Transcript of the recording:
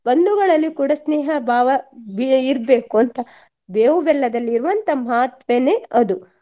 ಬಂಧುಗಳಲ್ಲಿ ಕೂಡ ಸ್ನೇಹ ಭಾವ ಇರ್ಬೇಕು ಅಂತ ಬೇವು ಬೆಲ್ಲದಲ್ಲಿ ಇರುವಂತ ಮಹತ್ವನೆ ಅದು